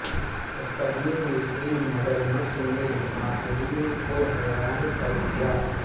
قدیم مصری مگرمچھ نے ماہرین کو حیران کر دیا